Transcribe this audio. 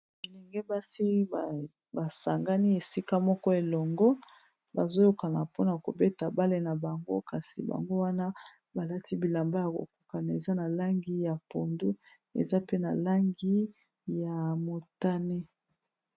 Bilenge basi basangani esika moko elongo bazoyokana mpona kobeta bale na bango kasi bango wana balati bilamba ya kokokana eza na langi ya pondu eza pe na langi ya motane.